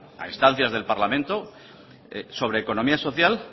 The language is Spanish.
a instancias del parlamento sobre economía social